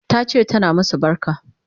Tace tana masu barka